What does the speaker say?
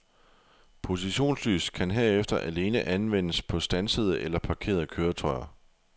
Positionslys kan herefter alene anvendes på standsede eller parkerede køretøjer.